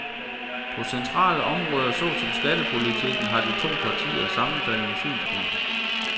På centrale områder såsom skattepolitikken har de to partier sammenfaldende synspunkter.